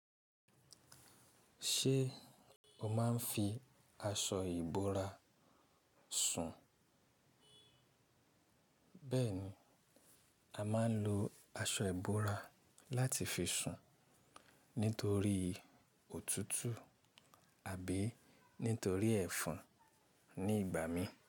Ṣé o máa ń fi aṣọ ìbora sùn? Bẹ́ẹ̀ni, a máa ń lo aṣọ ìbora láti fi sùn nítorí òtútù àbí nítorí ẹ̀fon ní ìgbà míì.